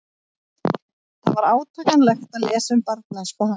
Það var átakanlegt að lesa um barnæsku hans.